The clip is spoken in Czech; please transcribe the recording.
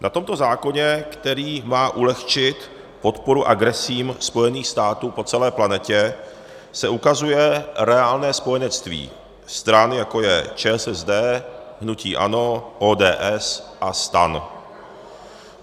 Na tomto zákoně, který má ulehčit podporu agresím Spojených států po celé planetě, se ukazuje reálné spojenectví stran, jako je ČSSD, hnutí ANO, ODS a STAN.